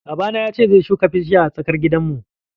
Babana ya ce zai shuka bishiya a tsakar gidanmu.